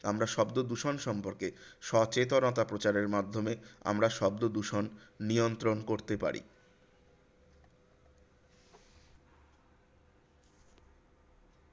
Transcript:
আমরা শব্দদূষণ সম্পর্কে সচেতনতা প্রচারের মাধ্যমে আমরা শব্দদূষণ নিয়ন্ত্রণ করতে পারি।